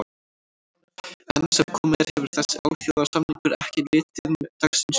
Enn sem komið er hefur þessi alþjóðasamningur ekki litið dagsins ljós.